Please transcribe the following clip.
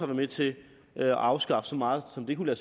med til at afskaffe så meget som det kunne